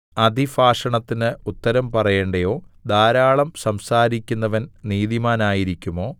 അതിഭാഷണത്തിന് ഉത്തരം പറയേണ്ടയോ ധാരാളം സംസാരിക്കുന്നവൻ നീതിമാനായിരിക്കുമോ